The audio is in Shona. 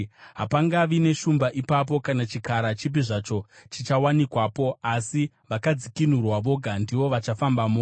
Hapangavi neshumba ipapo, kana chikara chipi zvacho chichawanikwapo. Asi vakadzikinurwa voga ndivo vachafambamo,